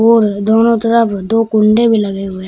और दोनों तरफ दो कुंडे भी लगे हुए हैं।